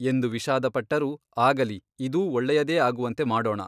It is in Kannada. ಎಂದು ವಿಷಾದಪಟ್ಟರೂ ಆಗಲಿ ಇದೂ ಒಳ್ಳೆಯದೇ ಆಗುವಂತೆ ಮಾಡೋಣ.